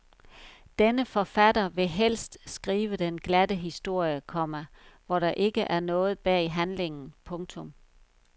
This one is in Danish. Denne forfatter vil helst skrive den glatte historie, komma hvor der ikke er noget bag handlingen. punktum